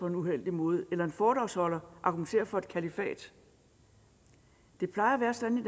en uheldig måde eller en foredragsholder argumenterer for et kalifat det plejer at være sådan i